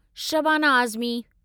Shabana Azmi